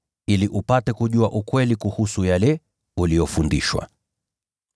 ili upate kujua ukweli kuhusu yale uliyofundishwa.